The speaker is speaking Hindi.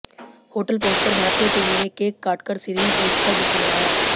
होटल पहुंचकर भारतीय टीम ने केक काटकर सीरीज जीत का जश्न मनाया